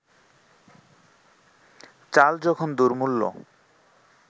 চাল যখন দুর্মূল্য